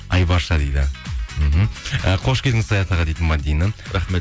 айбарша дейді мхм і қош келдіңіз саят аға дейді мәдина рахмет